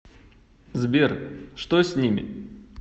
сбер что с ними